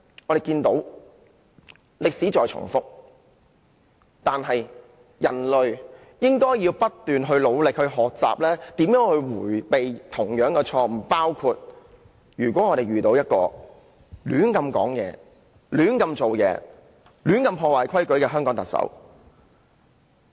我們看到歷史在重複，但其實人類是應該不斷努力學習以避免再犯同樣的錯誤，情況就如香港遇到一名胡亂說話、胡亂做事及胡亂破壞香港規矩的特首。